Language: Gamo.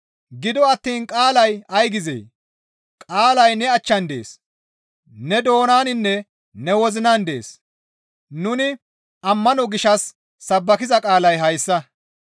Gido attiin qaalay ay gizee? «Qaalay ne achchan dees.» Ne doonaninne ne wozinan dees, nuni ammano gishshas sabbakiza qaalay hayssa.